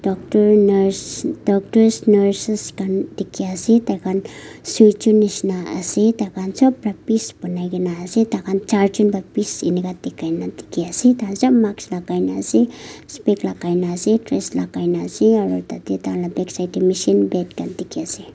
doctor nurses khan dekhi ase tai khan sijhn neshina ase tai khan sob para pice banai na ase tai khan charjun para pice enika dekhai na dekhi ase tai khan sob mask spics laga na ase dress laga na ase aru tatey tai khan laga backside tae machine bed khan dekhi ase.